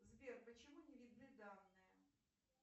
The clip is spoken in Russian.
сбер почему не видны данные